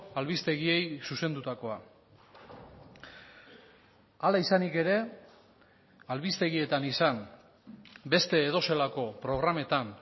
albistegiei zuzendutakoa hala izanik ere albistegietan izan beste edozelako programetan